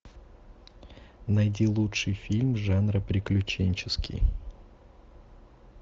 найти лучший фильм жанра приключенческий